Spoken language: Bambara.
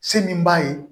Se min b'a ye